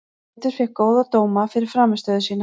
Pétur fékk góða dóma fyrir frammistöðu sína.